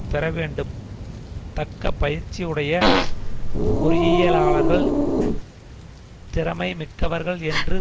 பெறவேண்டும் தக்க பயிற்சி உடைய பொறியியலாளர்கள் திறமை மிக்கவர்கள் என்று